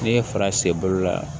N'i ye fara sen bolo la